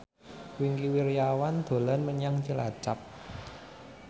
Wingky Wiryawan dolan menyang Cilacap